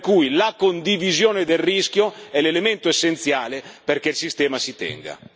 Per cui, la condivisione del rischio è l'elemento essenziale perché il sistema tenga.